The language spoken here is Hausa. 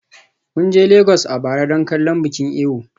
Mun je Legas a bara don kallon bikin Eyo.